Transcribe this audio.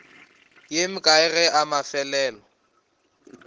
ye mekae ge la mafelelo